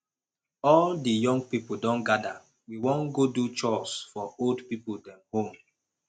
all di young pipo don gada we wan godo chores for old pipo dem home